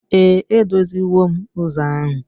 Ee, edoziwo m ụzọ ahu.